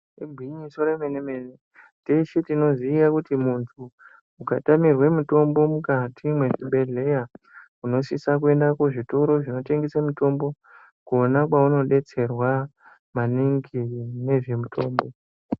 Igwinyiso remene mene teshe tinoziya kuti muntu ukatamirwe mitombo mukati mwezvibhedhlera unosise kuenda kuzvitoro zvinotengesa mitombo kona kwaunobetserwa maningi ngezvemitombo .